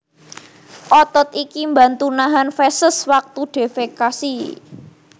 Otot iki mbantu nahan feses wektu defekasi